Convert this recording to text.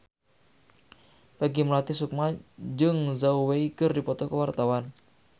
Peggy Melati Sukma jeung Zhao Wei keur dipoto ku wartawan